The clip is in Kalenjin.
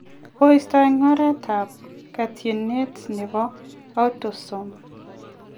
Kiipto eng oretab ketyinet nebo autosome.